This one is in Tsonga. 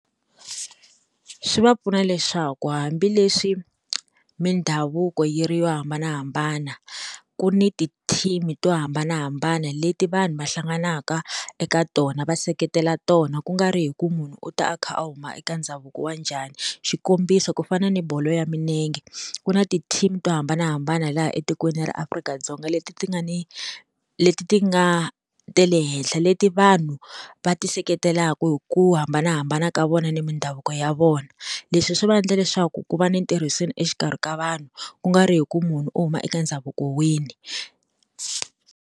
Swi va pfuna leswaku hambileswi mindhavuko yi ri yo hambanahambana ku ni tithimini to hambanahambana leti vanhu va hlanganaka eka tona va seketela tona ku nga ri hi ku munhu u ta a kha a huma eka ndhavuko wa njhani, xikombiso ku fana na bolo ya milenge ku na tithimi to hambanahambana laha etikweni ra Afrika-Dzonga leti ti nga ni leti ti nga ta le henhla leti vanhu va ti seketelaka hi ku hambanahambana ka vona ni mindhavuko ya vona leswi swi va endla leswaku ku va ni ntirhiseni exikarhi ka vanhu ku nga ri hi ku munhu u huma eka ndhavuko wini.